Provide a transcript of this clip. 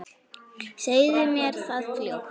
Segðu mér það fljótt.